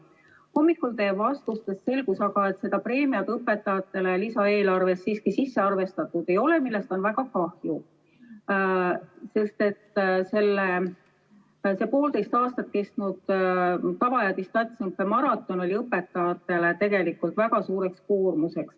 Hommikul teie vastustest selgus aga, et seda preemiat õpetajatele lisaeelarvesse sisse arvestanud ei ole, millest on väga kahju, sest see poolteist aastat kestnud tava- ja distantsõppe maraton oli õpetajatele tegelikult väga suur koormus.